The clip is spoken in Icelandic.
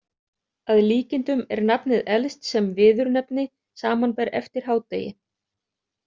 Að líkindum er nafnið elst sem viðurnefni, samanber eftir hádegi